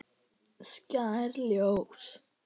Skær ljós.